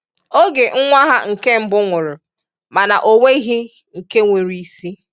oge nwa ha nke mbụ nwụrụ mana o nweghị nke nwere isi.